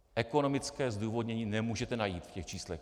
Ekonomické zdůvodnění nemůžete najít v těch číslech.